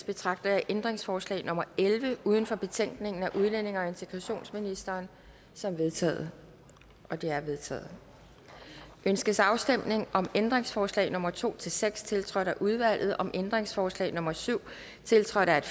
betragter jeg ændringsforslag nummer elleve uden for betænkningen af udlændinge og integrationsministeren som vedtaget det er vedtaget ønskes afstemning om ændringsforslag nummer to seks tiltrådt af udvalget om ændringsforslag nummer syv tiltrådt af